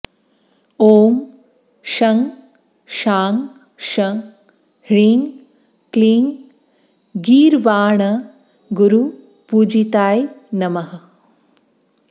ॐ शं शां षं ह्रीं क्लीं गीर्वाणगुरुपूजिताय नमः